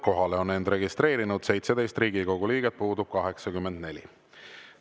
Kohalolijaks on end registreerinud 17 Riigikogu liiget, puudub 84.